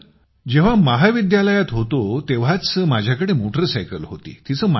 sir जेव्हा महाविद्यालयात होतो तेव्हाच माझ्याकडे मोटर सायकल होती